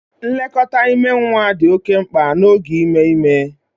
Nlekọta ime nwa dị oke mkpa n'oge ime ime